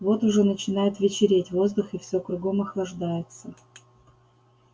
вот уже начинает вечереть воздух и всё кругом охлаждается